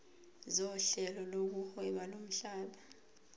sohlelo lokuhweba lomhlaba